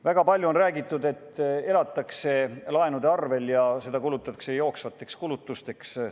Väga palju on räägitud, et elatakse laenude arvel ja et laenuraha kulutatakse jooksvateks kulutusteks.